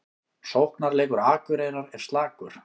Sóknarleikur Akureyrar er slakur